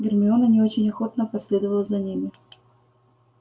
гермиона не очень охотно последовала за ними